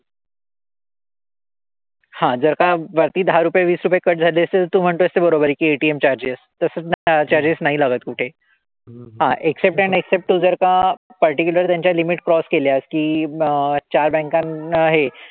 हां जर का वरती दहा रुपये, वीस रुपये cut झाले असेल, तू म्हणतोयस ते बरोबर आहे कि ATM charges तसं त्यांना charges नाही लागत कुठेही. हां except and except तू जर का particular त्यांच्या limit cross केल्यास की मग चार banks ना हे,